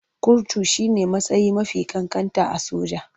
Kurtu shi ne matsayi mafi ƙanƙanta a soja.